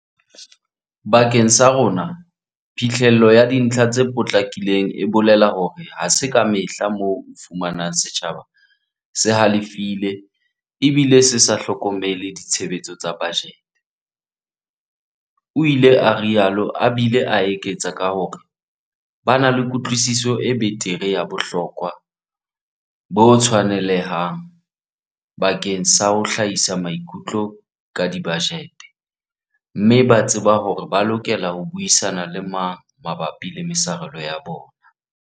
"Bakeng sa rona, phihlello ya dintlha tse potlakileng e bolela hore ha se kamehla moo o fumanang setjhaba se halefile ebile se sa hlokomele ditshebetso tsa bajete, o ile a rialo a bile a eketsa ka hore ba na le kutlwisiso e betere ya bohlokwa bo tshwanelehang bakeng sa ho hlahisa maikutlo ka dibajete mme ba tseba hore ba lokela ho buisana le mang mabapi le mesarelo ya bona."